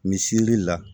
Misirili la